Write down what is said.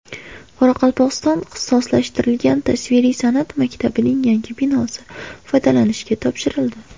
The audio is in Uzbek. Qoraqalpog‘iston ixtisoslashtirilgan tasviriy san’at maktabining yangi binosi foydalanishga topshirildi.